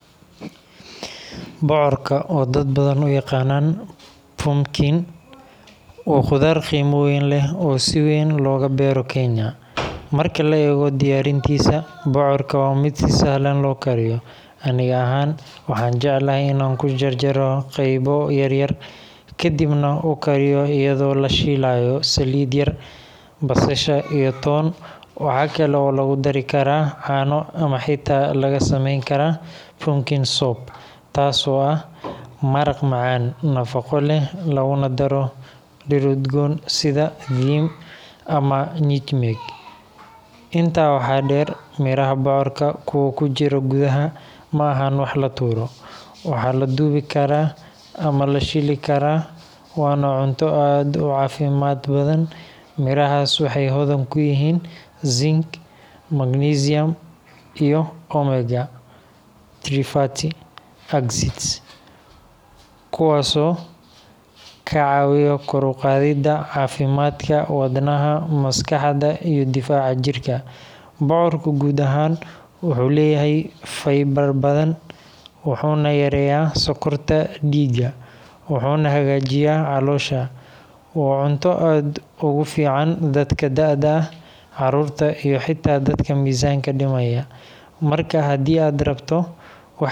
Bocorka oo dadbadan uyaqanan pumpkin wa qudar qeyma weyn leh oo si weyn logabeero Kenya. Marki laego diyaarintisa bocorka waa mid si sahlan lookariyo. Ani axaan awaxaan jeclahy in aan kujarjaro qeybo yaryar kadibna ukariyo iyado lashilayo salid yar, basasha iyo toon waxxa kale oo lagudari karaa caano ama xita laga sameyn karaa Pumpkin soup taas oo ax maraq macaan nafaqo leh lagunadaro dirir udgoon sida ama nutmeg. intaa waxaa deer miraha bocorka kuwa kujiro gudaxa maaxa wax latuuro. Waxaa laduwi karaa ama lashiili karaa waana cunto aad ucaafimad badan. Miraxaas wexey hodan kuyihin zinc, magnisium iyo Omega- three fatty acids , kuwaas oo kacawiyo kor uqaadida cafimadka wadnaha, maskaxda, iyo difaaca jirka. Bocorka guud axaan wuxu leyahy fiber badan wuxuna yareyaa sokorta diiga wuxuna hagaajiya caloosha. Waa cunto aad ogufican dadka daada ax caruurta iyo hada dadka mizanka dimayo. marka hadi ad rabto..